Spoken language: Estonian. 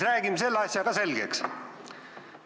Räägime selle asja ka selgeks.